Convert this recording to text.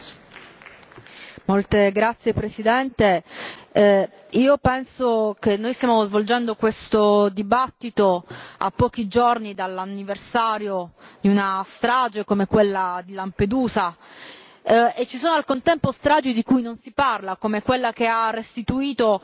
Signor Presidente, onorevoli colleghi, penso che noi stiamo svolgendo questo dibattito a pochi giorni dall'anniversario di una strage come quella di Lampedusa e ci sono al contempo stragi di cui non si parla, come quella che ha restituito